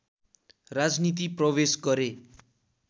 राजनीति प्रवेश गरे